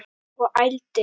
Og ældi.